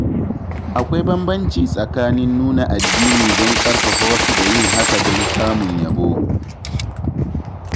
Akwai bambanci tsakanin nuna addini don ƙarfafa wasu da yin hakan don samun yabo.